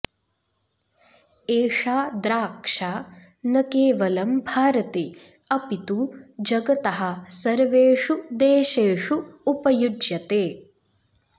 एषा द्राक्षा न केवलं भारते अपि तु जगतः सर्वेषु देशेषु उपयुज्यते